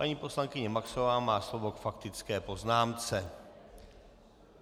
Paní poslankyně Maxová má slovo k faktické poznámce.